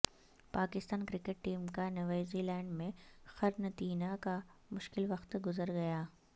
Pakistan cricket team کا New Zealand میں قرنطینہ کا مشکل وقت گزر گیا